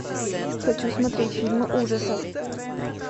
хочу смотреть фильмы ужасов